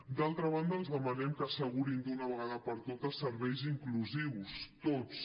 d’altra banda els demanem que assegurin d’una vegada per totes serveis inclusius tots